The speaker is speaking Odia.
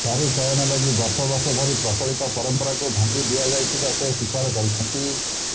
ଦାରୁ ଚୟନ ଲାଗି ବର୍ଷ ବର୍ଷ ଧରି ପ୍ରଚଳିତ ପରମ୍ପରାକୁ ଭାଙ୍ଗି ଦିଆଯାଇଥିବା ସେ ସ୍ୱୀକାର କରିଛନ୍ତି